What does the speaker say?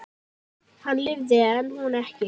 Hann lifði en hún ekki.